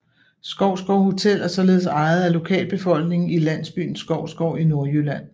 Skovsgård Hotel er således ejet af lokalbefolkningen i landsbyen Skovsgård i Nordjylland